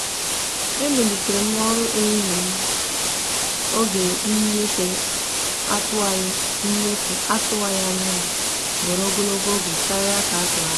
e emelitere m ọrụ ehihie m oge nnyefe atụwaghị nnyefe atụwaghị anya ya were ogologo oge karịa ka a tụrụ anya.